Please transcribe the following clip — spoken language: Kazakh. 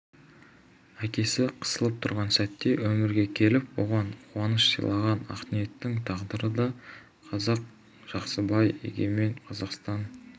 әкесі қысылып тұрған сәтте өмірге келіп оған қуаныш сыйлаған ақниеттің тағдыры да қызық жақсыбай егемен қазақстан